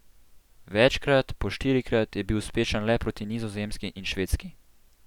Večkrat, po štirikrat, je bil uspešen le proti Nizozemski in Švedski.